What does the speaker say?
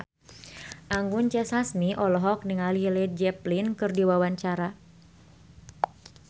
Anggun C. Sasmi olohok ningali Led Zeppelin keur diwawancara